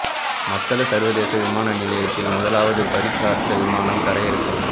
மத்தல சர்வதேச விமான நிலையத்தில் முதலாவது பரீட்சார்த்த விமானம் தரையிறக்கம்